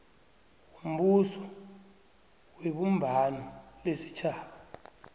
wombuso webumbano lesitjhaba